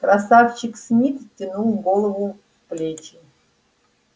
красавчик смит втянул голову в плечи